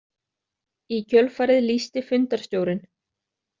Í kjölfarið lýsti fundarstjórinn.